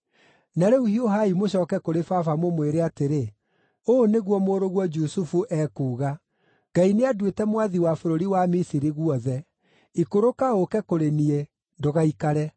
Na rĩu hiũhai mũcooke kũrĩ baba mũmwĩre atĩrĩ, ‘Ũũ nĩguo mũrũguo Jusufu ekuuga: Ngai nĩanduĩte mwathi wa bũrũri wa Misiri guothe. Ikũrũka ũũke kũrĩ niĩ; ndũgaikare.